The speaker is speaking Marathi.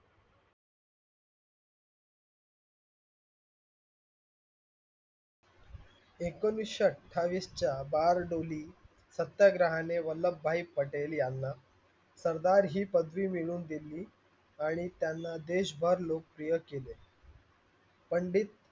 एकोणिसशे अठ्ठावीस च्या बार्डोली सत्याग्रहाने वल्लभ भाई पटेल याना सरदार हि पदवी मिळवून दिली आणि त्यांना देशभर लोकप्रिय केले. पंडित,